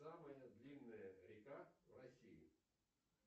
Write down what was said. самая длинная река в россии